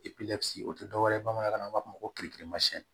o tɛ dɔwɛrɛ ye bamanankan na u b'a fɔ ko